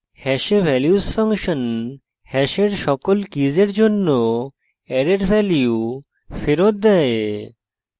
hash values function hash সকল কীসের জন্য অ্যারের ভ্যালু ফেরত দেয়